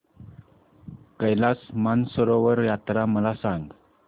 कैलास मानसरोवर यात्रा मला सांग